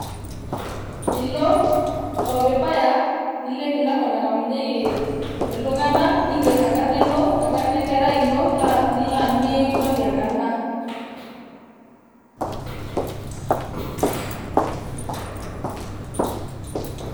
ilo ore pibaya, nilo emilango nangamunyieki iltunganak ninger ino ,enkarna enkerai ino nilo aanyu mikimpoti enkarna